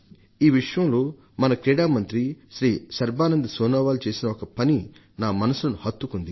ఈ విషయంలో మన క్రీడా మంత్రి శ్రీ సర్బానంద్ సోనోవాల్ చేసిన ఒక పని నా మనసుకు హత్తుకుపోయింది